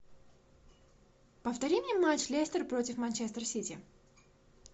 повтори мне матч лестер против манчестер сити